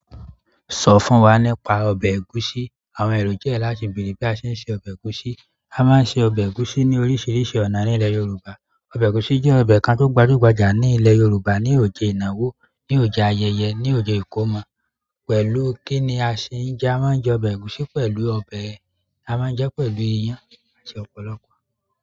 Sọ fún wa nípa ọbẹ̀ ẹ̀gúsí. Àwọn ẹ̀rò jẹ́ láti bèèrè bí a ṣe ń se ọbẹ̀ ẹ̀gúsí. A máa ń se ọbẹ̀ ẹ̀gúsí ní oríṣiríṣi ọ̀nà ní ilẹ̀ Yorùbá. Ọbẹ̀ ẹ̀gúsí jẹ́ ọbẹ̀ kan tó gbajúgbajà ní ilẹ̀ Yorùbá, ní òjẹ ìnáwó, ní òjẹ ayẹyẹ, ní òjẹ ìkómọ. Pẹ̀lú kí ni a ṣe ń jẹ́? A máa ń jẹ ọbẹ̀ ẹ̀gúsí pẹ̀lú ọbẹ̀, a máa ń jẹ pẹ̀lú iyán àti ọ̀pọ̀lọpọ̀